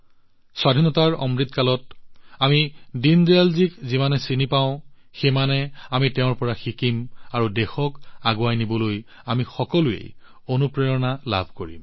স্বাধীনতাৰ অমৃত কালত আমি দীনদয়ালজীক যিমানে চিনি পাম সিমানে আমি তেওঁৰ পৰা শিকিম দেশখনক আগুৱাই নিয়াৰ বাবে আমি সকলোৱে অনুপ্ৰাণিত হম